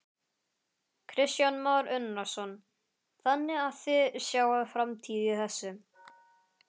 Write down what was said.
Kristján Már Unnarsson: Þannig að þið sjáið framtíð í þessu?